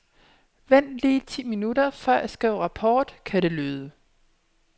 Vent lige ti minutter, for jeg skriver rapport, kan det lyde.